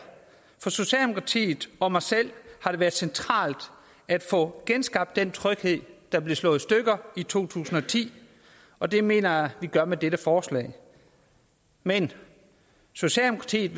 for socialdemokratiet og mig selv har det været centralt at få genskabt den tryghed der blev slået i stykker i to tusind og ti og det mener jeg vi gør med dette forslag men socialdemokratiet